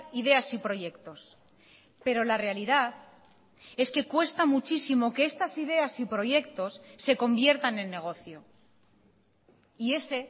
ideas y proyectos pero la realidad es que cuesta muchísimo que estas ideas y proyectos se conviertan en negocio y ese